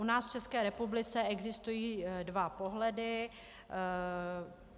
U nás v České republice existují dva pohledy.